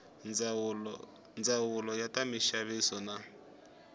ndzawulo ya ta minxaviso na